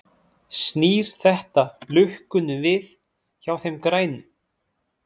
Snýr þetta lukkunni við hjá þeim grænu?